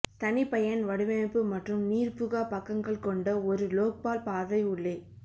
தனிபயன் வடிவமைப்பு மற்றும் நீர்புகா பக்கங்கள் கொண்ட ஒரு லோக்பால் பார்வை உள்ளே